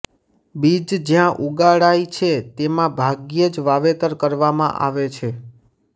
બીજ જ્યાં ઉગાડાય છે તેમાં ભાગ્યે જ વાવેતર કરવામાં આવે છે